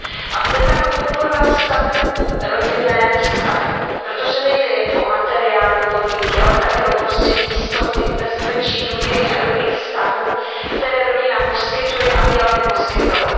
A bude tak podporovat stabilní rodinné vztahy, protože nejde jen o materiální podmínky, ale také o prostředí jistoty, bezpečí, důvěry a dobrých vztahů, které rodina poskytuje a měla by poskytovat.